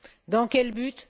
Dans quel but?